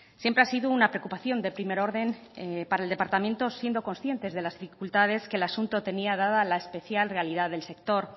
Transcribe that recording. siempre ha sido una preocupación de primer orden para el departamento siendo conscientes de las dificultades que el asunto tenía dada la especial realidad del sector